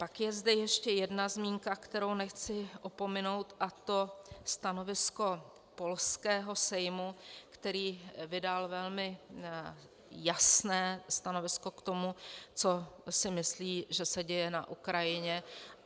Pak je zde ještě jedna zmínka, kterou nechci opominout, a to stanovisko polského Sejmu, který vydal velmi jasné stanovisko k tomu, co si myslí, že se děje na Ukrajině.